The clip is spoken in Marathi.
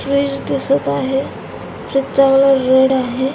फ्रीज दिसत आहे फ्रीज चा कलर रेड आहे.